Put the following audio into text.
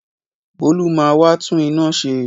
Bolu ma wá tún inú ṣe.